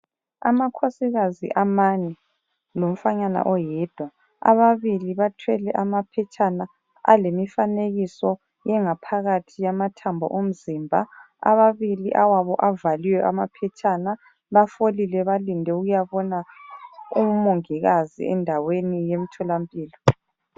Amakhosikazi amane lomfanyana oyedwa ababili bathwele amaphetshana alemifanekiso yangaphakathi yamathambo omzimba ababili awabo avaliwe amaphetshana bafolile balinde ukuyabona umongikazi endaweni yemtholampilo.